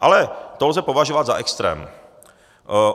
Ale to lze považovat za extrém.